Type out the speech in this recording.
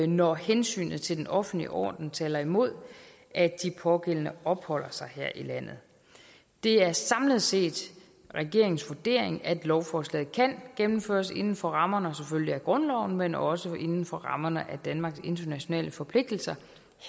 når hensynet til den offentlige orden taler imod at de pågældende opholder sig her i landet det er samlet set regeringens vurdering at lovforslaget kan gennemføres inden for rammerne af grundloven selvfølgelig men også inden for rammerne af danmarks internationale forpligtelser